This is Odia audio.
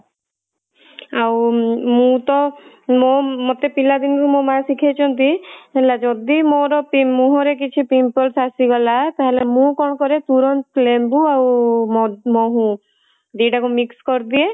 ଆଉ ମୁଁ ତ ମୋ ମତେ ପିଲା ଦିନୁ ମୋ ମା ଶିଖେଇଛନ୍ତି ହେଲା ଯଦି ମୋର ମୁହଁ ରେ କିଛି pimples ଆସିଗଲା ତାହାଲେ ମୁଁ କଣ କରେ ତୁରନ୍ତ ମୁହଁ ରେ ଲେମ୍ବୁ ଆଉ ମହୁ ଦିଟା ଯାକ mix କରିଦିଏ